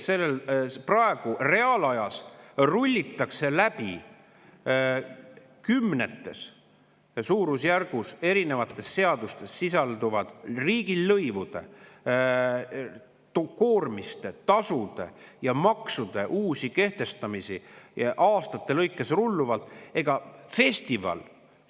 Praegu rullitakse läbi kümnetes erinevates seadustes sisalduvate riigilõivude, koormiste, tasude ja maksude või uute kehtestamisi, mis aastate lõikes lahti rulluvad.